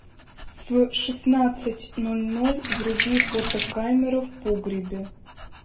в шестнадцать ноль ноль вруби фотокамера в погребе